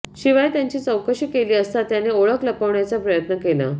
शिवाय त्याची चौकशी केली असता त्याने ओळख लपवण्याचा प्रयत्न केला